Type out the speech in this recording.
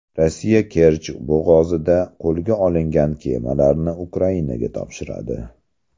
Rossiya Kerch bo‘g‘ozida qo‘lga olingan kemalarni Ukrainaga topshiradi.